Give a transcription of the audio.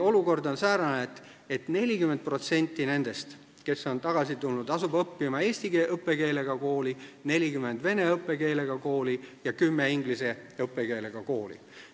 Olukord on säärane, et 40% nendest, kes on tagasi tulnud, asub õppima eesti õppekeelega kooli, 40% vene õppekeelega kooli ja 10% inglise õppekeelega kooli.